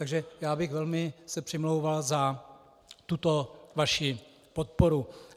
Takže já bych se velmi přimlouval za tuto vaši podporu.